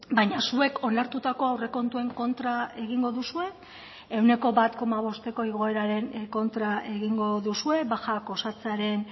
baina zuek onartutako aurrekontuen kontra egingo duzue ehuneko bat koma bosteko igoeraren kontra egingo duzue bajak osatzearen